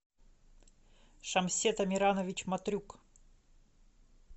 шамсет амиранович матрюк